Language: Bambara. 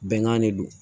Bɛnkan de do